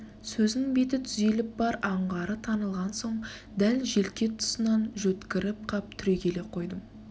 сөзінің беті түзеліп бар аңғары танылған соң дәл желке тұсынан жөткіріп қап түрегеле қойдым